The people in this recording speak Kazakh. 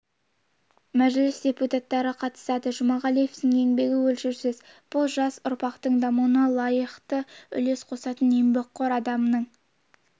мәжіліс депутаттары қатысады жұмағалиевтің еңбегі өлшеусіз бұл жас ұрпақтың дамуына лайықты үлес қосатын еңбекқор адамның